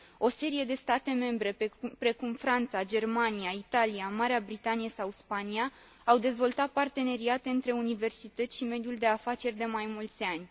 O serie de state membre, precum Franța, Germania, Italia, Marea Britanie sau Spania, au dezvoltat parteneriate între universități și mediul de afaceri de mai mulți ani.